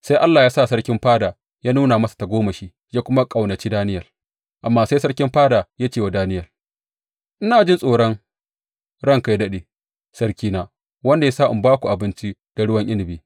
Sai Allah ya sa sarkin fada ya nuna masa tagomashi ya kuma ƙaunaci Daniyel, amma sai sarkin fada ya ce wa Daniyel, Ina jin tsoron ranka yă daɗe, sarkina wanda ya sa a ba ku abinci da ruwan inabi.